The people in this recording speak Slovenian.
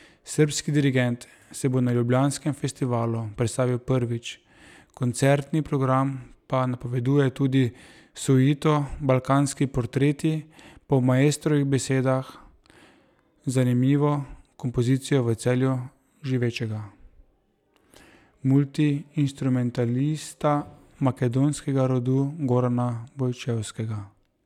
Srbski dirigent se bo na ljubljanskem festivalu predstavil prvič, koncertni program pa napoveduje tudi suito Balkanski portreti, po maestrovih besedah zanimivo kompozicijo v Celju živečega multiinstrumentalista makedonskega rodu Gorana Bojčevskega.